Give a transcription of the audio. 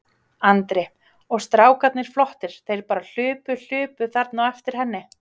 Andri: Og strákarnir flottir, þeir bara hlupu, hlupu þarna á eftir henni?